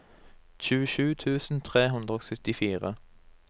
tjuesju tusen tre hundre og syttifire